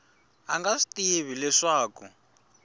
a nga swi tivi leswaku